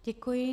Děkuji.